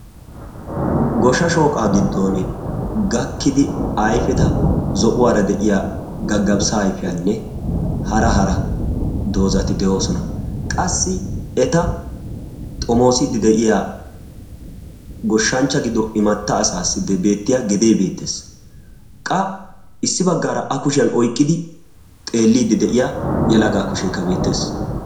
Goshsha shooqa giddon gaakidi ayfida gaggafissa ayfiyanne hara hara doozatikka de'oosona. qassi a xoomoside de'iya immata asati beettoosona. qa a kushiyaan oyqqidi de'iyaa yelaga kushekka beettees.